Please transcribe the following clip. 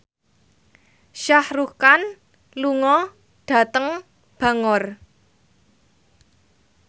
Shah Rukh Khan lunga dhateng Bangor